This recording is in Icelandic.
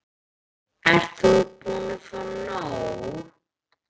Ert þú búin að fá nóg?